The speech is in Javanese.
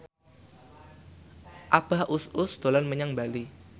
Abah Us Us dolan menyang Bali